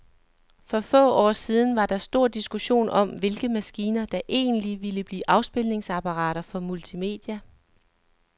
For få år siden var der stor diskussion om, hvilke maskiner, der egentlig ville blive afspilningsapparater for multimedia.